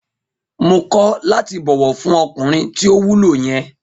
Mo kọ̀ láti bọ̀wọ̀ fún ọkùnrin tí ò wúlò yen